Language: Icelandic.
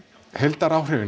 heildaráhrifin